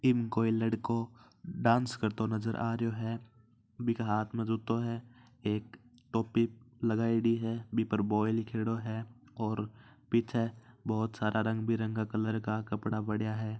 इम कोई लडको डांस करतो नज़र आ रह्यो बिका हाथ में जुत्तो है एक टोपी लगायोडी है बी पर बॉय लिखियोडो है और पीछे बहुत सारा रंग बे रंगी कलर का कपडा पड़ा है।